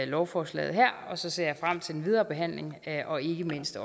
lovforslaget her og så ser jeg frem til den videre behandling og ikke mindst